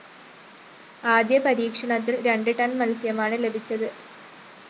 ആദ്യ പരീക്ഷണത്തില്‍ രണ്ട് ടൺ മത്സ്യമാണ് ലഭിച്ചത്